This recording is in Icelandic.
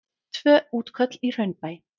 Tvö útköll í Hraunbæ